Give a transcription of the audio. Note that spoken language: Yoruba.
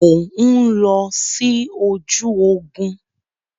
Mo ń lọ sí ojú ogún.